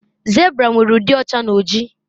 zebra nwere udi ọcha na oji